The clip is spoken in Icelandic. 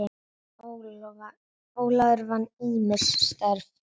Ólafur vann ýmis störf.